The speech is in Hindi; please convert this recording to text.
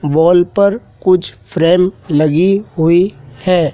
वॉल पर कुछ फ्रेम लगी हुई है।